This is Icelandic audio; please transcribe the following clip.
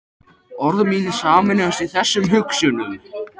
Og orð mín sameinast þessum hugsunum.